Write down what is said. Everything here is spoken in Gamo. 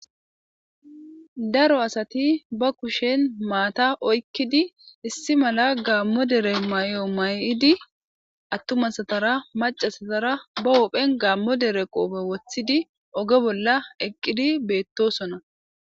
Daro asati be kushen maata oykidi,issi mala gaammo dere mayo mayidi,attuma asatara macca asatara be buphen gaammo dereqoofe woththidi,oge bollan eqqidi beetosona.